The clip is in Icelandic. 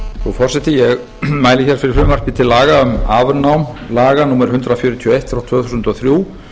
virðulegi forseti ég mæli hér fyrir frumvarpi til laga um afnám laga númer hundrað fjörutíu og eitt tvö þúsund og þrjú